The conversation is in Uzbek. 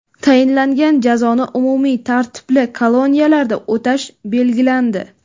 Tayinlangan jazoni umumiy tartibli koloniyalarda o‘tash belgilandi.